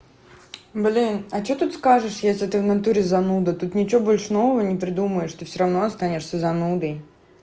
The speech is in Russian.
блин а что тут скажешь если ты внатуре зануда тут ничего больше нового не придумаешь ты всё равно останешься занудой